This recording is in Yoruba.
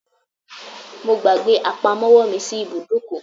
I forgot my purse at the garage